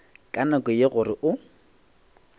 ka nako ye gore o